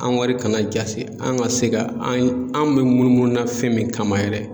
An ga wari kana jasi an ga se ga an an me munumunu na fɛn min kama yɛrɛ